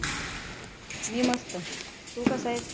मी मस्त, तू कसा आहेस.